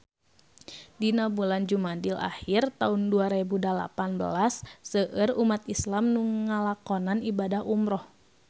Dina bulan Jumadil ahir taun dua rebu dalapan belas seueur umat islam nu ngalakonan ibadah umrah